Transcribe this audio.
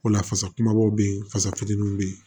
O la fasa kumabaw bɛ ye fasa fitininw bɛ yen